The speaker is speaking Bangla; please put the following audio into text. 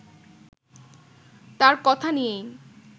তাঁর কথা নিয়েই